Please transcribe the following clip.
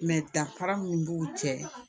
danfara min b'u cɛ